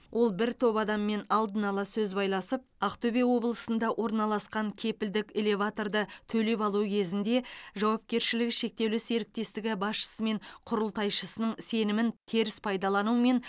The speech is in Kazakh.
ол бір топ адаммен алдын ала сөз байласып ақтөбе облысында орналасқан кепілдік элеваторды төлеп алу кезінде жауапкершілігі шектеулі серіктестігі басшысы мен құрылтайшысының сенімін теріс пайдалану мен